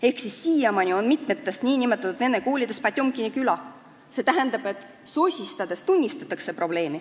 Ehk siis siiamaani on mitmes nn vene koolis Potjomkini küla, st sosistades tunnistatakse probleemi.